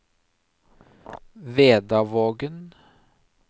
Vedavågen